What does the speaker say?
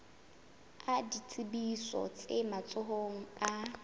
a ditsebiso tse matsohong a